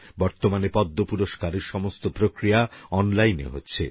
বর্তমানে পদ্ম পুরষ্কার এর সমগ্র প্রক্রিয়া অনলাইনে হচ্ছে